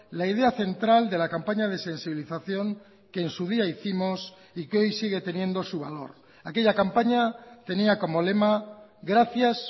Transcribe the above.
la idea central de la campaña de sensibilización que en su día hicimos y que hoy sigue teniendo su valor aquella campaña tenía como lema gracias